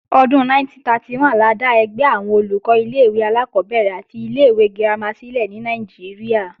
Ọdún 1931 la dá ẹgbẹ́ àwọn Olùkọ́ ilé-ìwé alákọ́bẹ̀rẹ̀ àti ilé-ìwé girama sílẹ̀ ní Nàìjíríà